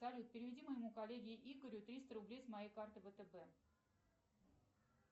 салют переведи моему коллеге игорю триста рублей с моей карты втб